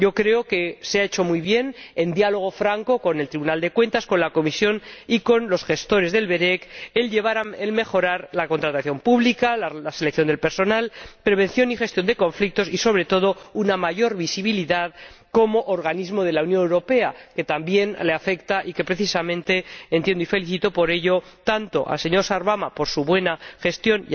Creo que se ha hecho muy bien, en diálogo franco con el Tribunal de Cuentas, con la Comisión y con los gestores del ORECE, el conseguir mejorar la contratación pública, la selección del personal, la prevención y gestión de conflictos y, sobre todo, una mayor visibilidad como organismo de la Unión Europea, algo que también le interesa al ORECE y que, precisamente, entiendo —y felicito por ello tanto al señor Sarvamaa por su buena gestión